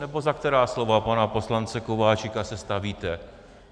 Nebo za která slova pana poslance Kováčika se stavíte?